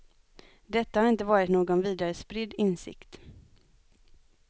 Detta har inte varit någon vidare spridd insikt.